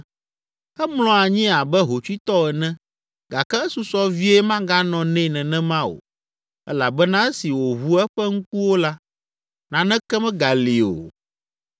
Emlɔ anyi abe hotsuitɔ ene gake esusɔ vie maganɔ nɛ nenema o elabena esi wòʋu eƒe ŋkuwo la, naneke megali o.